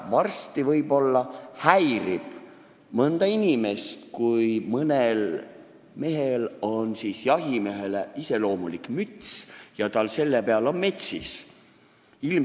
Varsti võib-olla häirib mõnda inimest see, kui mõnel mehel on jahimehele iseloomulik müts, mille peal on metsis.